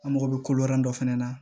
An mago bɛ kolo dɔ fɛnɛ na